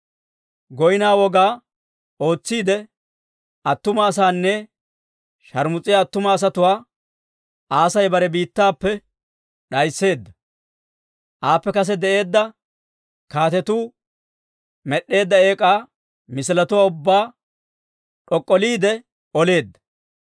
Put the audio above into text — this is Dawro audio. Goynno woga ootsiide attuma asaana sharmus'iyaa attuma asatuwaa Aasi bare biittappe d'aysseedda; aappe kase de'eedda kaatetuu med'd'eedda eek'aa misiletuwaa ubbaa d'ok'k'oleretsiide oleedda.